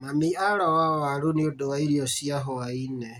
Mami aroa waru nĩũndũ wa irio cia hwaĩ-inĩ